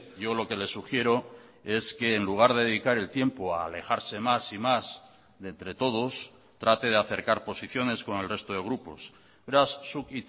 yo lo que le sugiero es que en lugar de dedicar el tiempo a alejarse más y más de entre todos trate de acercar posiciones con el resto de grupos beraz zuk